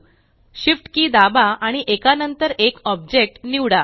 Shift कि दाबा आणि एका नंतर एक ऑब्जेक्ट निवडा